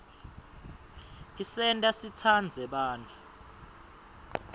isenta sitsandze bantfu